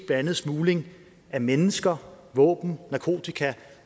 andet smugling af mennesker våben narkotika